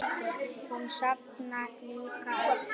Hún safnar líka uglum.